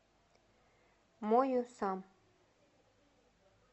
мою сам